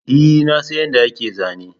E, na san yadda ake zana